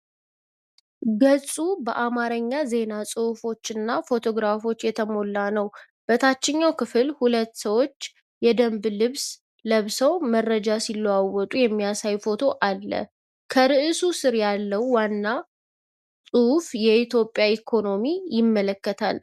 ገጹ በአማርኛ ዜና ጽሑፎችና በፎቶግራፎች የተሞላ ነው። በታችኛው ክፍል ሁለት ሰዎች የደንብ ልብስ ለብሰው መረጃ ሲለዋወጡ የሚያሳይ ፎቶ አለ፤ ከርዕሱ ስር ያለው ዋናው ጽሑፍ የኢትዮጵያ ኢኮኖሚን ይመለከታል።